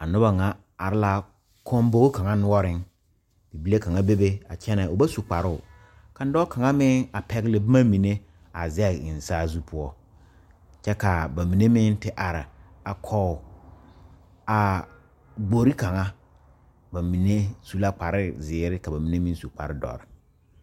A noba ŋa are la kɔmbogi kaŋ noɔreŋ bibile kaŋa bebe a kyɛnɛ o ba su kparoo kaŋ dɔɔ kaŋa meŋ a pɛgle boma mine a zɛge eŋ saazu poɔ kyɛ ka ba mine meŋ are a kɔge a gbori kaŋa ba mine su la kparezeere ka ba mine meŋ su kparedɔre.